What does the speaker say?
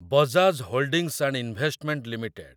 Bajaj holdings and investment limited